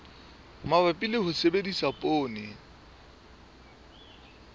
mabapi le ho sebedisa poone